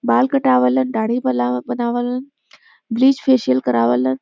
बाल कटावालन डाढ़ी बलावा- बनावलन। ब्लीच् फेशियल करावलन।